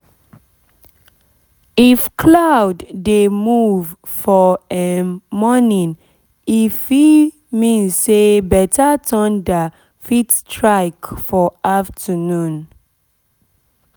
if cloud dey move for um morning if e mean say better thunder fit strike for afternoon